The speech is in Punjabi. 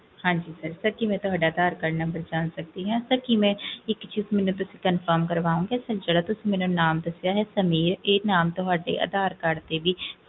ਹਾਂਜੀ sirsir ਕੀ ਮੈਂ ਤੁਹਾਡਾ ਅਧਾਰ cardnumber ਜਾਂ ਸਕਦੀ ਕਿ ਤੁਸੀਂ confirm ਕਰਵਾਉਣਗੇ ਜਿਹੜਾ ਤੁਸੀਂ ਮੇਰਾ ਨਾਮ ਦਸਿਆ ਹੈ ਸਮੀਰ ਇਹ ਤੁਹਾਡੇ ਅਧਾਰ card ਦੇ ਵਿਚ